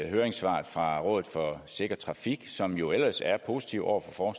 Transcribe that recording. høringssvaret fra rådet for sikker trafik som jo ellers er positiv over for